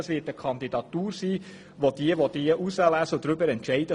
Danach sagt dann das Auswahlgremium: